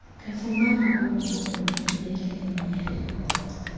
efumana ubumi belinye